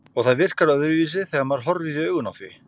Og það virkar öðruvísi þegar maður horfir í augun á því.